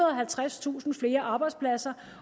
og halvtredstusind flere arbejdspladser